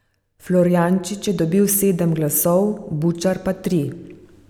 Florjanič je dobil sedem glasov, Bučar pa tri.